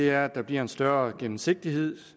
er at der bliver en større gennemsigtighed at